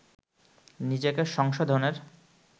নিজেকে সংশোধনের